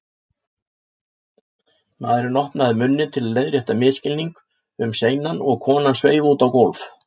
Maðurinn opnaði munninn til að leiðrétta misskilning um seinan og konan sveif út á gólf.